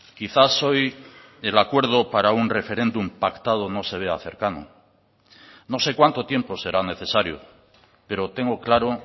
quizás hoy el acuerdo para un referéndum pactado no se vea cercano no sé cuánto tiempo será necesario pero tengo claro